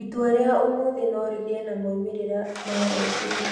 Itua rĩa ũmũthĩ no rĩgĩe na moimĩrĩro ma rũciũ.